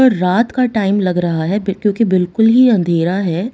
रात का टाइम लग रहा है फिर क्योंकि बिल्कुल ही अंधेरा है।